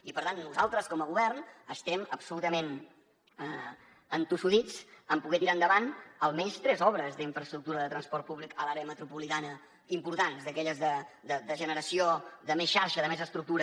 i per tant nosaltres com a govern estem absolutament entossudits en poder tirar endavant almenys tres obres d’infraestructura de transport públic a l’àrea metropolitana importants d’aquelles de generació de més xarxa de més estructura